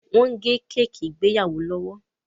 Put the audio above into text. wón gé Kéèkì ìgbéyàwó lówó!